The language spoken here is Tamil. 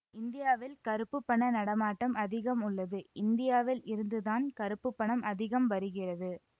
இந்தியாவில் கருப்பு பண நடமாட்டம் அதிகம் உள்ளது இந்தியாவில் இருந்துதான் கருப்பு பணம் அதிகம் வருகிறது